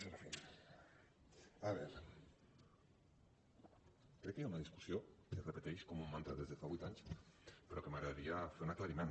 crec que hi ha una discussió que es repeteix com un mantra des de fa vuit anys però de què m’agradaria fer un aclariment